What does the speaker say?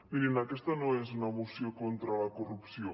mirin aquesta no és una moció contra la corrupció